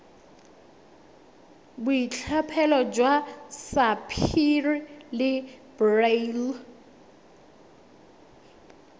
boitlhophelo jwa sapphire le beryl